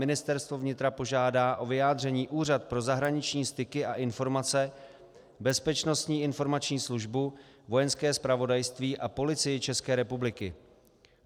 Ministerstvo vnitra požádá o vyjádření Úřad pro zahraniční styky a informace, Bezpečnostní informační službu, Vojenské zpravodajství a Policii České republiky.